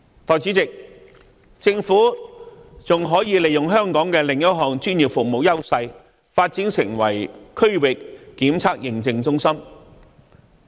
代理主席，政府還可以利用香港的另一項專業服務優勢，發展成為區域檢測認證中心。